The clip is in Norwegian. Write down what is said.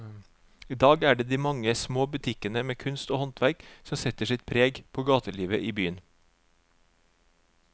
I dag er det de mange små butikkene med kunst og håndverk som setter sitt preg på gatelivet i byen.